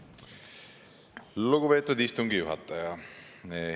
Lugupeetud istungi juhataja!